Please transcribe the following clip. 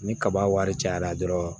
Ni kaba wari cayara dɔrɔn